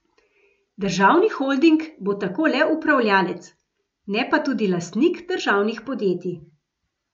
Državni holding bo tako le upravljalec, ne pa tudi lastnik, državnih podjetij.